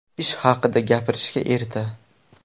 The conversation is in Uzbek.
Ish haqida gapirishga erta.